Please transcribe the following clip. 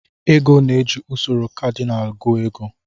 Ego na-eji usoro kadinal gụọ ego.